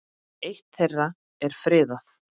Eitt þeirra er friðað.